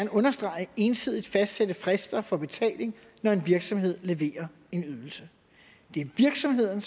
understrege ensidigt fastsætte frister for betaling når en virksomhed leverer en ydelse det er virksomheden